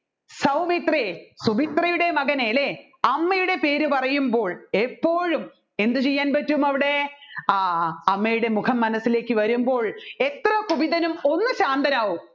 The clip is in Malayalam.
സൗമിത്രേ സുമിത്രയുടെ മകനെ അല്ലെ അമ്മയുടെ പേര് പറയുമ്പോൾ എപ്പോഴും എന്ത് ചെയ്യാൻ പറ്റും അവിടെ ആ അമ്മയുടെ മുഖം മനസ്സിലേക്ക് വരുംപ്പോൾ എത്ര കുപിതനും ഒന്ന് ശാന്തരാകും